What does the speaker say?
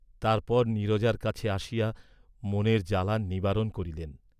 তাহার পর নীরজার কাছে আসিয়া মনের জ্বালা নিবারণ করিলেন।